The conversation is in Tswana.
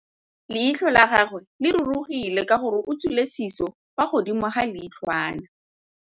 Leitlhô la gagwe le rurugile ka gore o tswile sisô fa godimo ga leitlhwana.